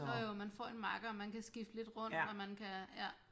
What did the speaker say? Jo jo man får en makker og man kan skifte lidt rundt og man kan ja